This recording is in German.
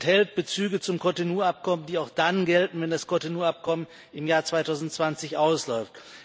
Es enthält Bezüge zum Cotonou-Abkommen, die auch dann gelten, wenn das Cotonou-Abkommen im Jahr 2020 ausläuft.